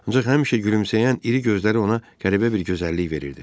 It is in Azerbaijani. Ancaq həmişə gülümsəyən iri gözləri ona qəribə bir gözəllik verirdi.